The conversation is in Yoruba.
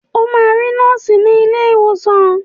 O máa rí nọ́ọ̀sì ní ilé ìwòsàn.